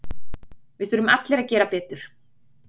Við þurfum allir að gera betur.